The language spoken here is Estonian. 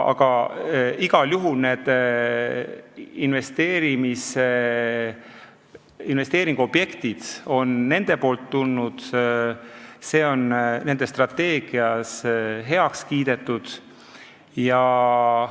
Aga igal juhul on need investeeringuobjektid nende poolt tulnud, see on nende strateegias heaks kiidetud.